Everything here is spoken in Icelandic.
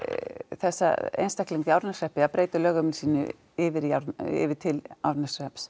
þessa einstaklinga í Árneshreppi að breyta lögheimili sínu yfir yfir til Árneshrepps